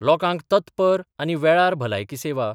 लोकांक तत्पर आनी वेळार भलायकी सेवा